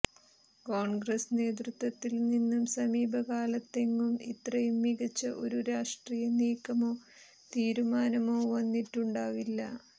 കോണ്ഗ്രസ് നേതൃത്വത്തില്നിന്ന് സമീപകാലത്തെങ്ങും ഇത്രയും മികച്ച ഒരു രാഷ്ട്രീയനീക്കമോ തീരുമാനമോ വന്നിട്ടുണ്ടാവില്ല